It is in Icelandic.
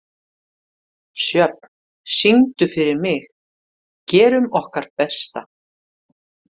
Sjöfn, syngdu fyrir mig „Gerum okkar besta“.